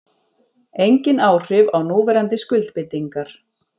Engin áhrif á núverandi skuldbindingar